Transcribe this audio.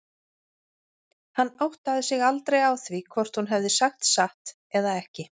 Hann áttaði sig aldrei á því hvort hún hefði sagt satt eða ekki.